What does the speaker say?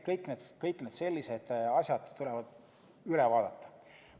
Kõik sellised asjad tuleb üle vaadata.